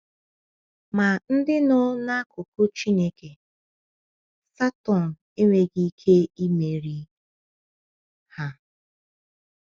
Ma ndị nọ n’akụkụ Chineke, Satọn enweghị ike imeri ha.